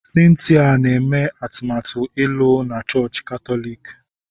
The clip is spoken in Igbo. Cynthia na-eme atụmatụ ịlụ na chọọchị Katọlik.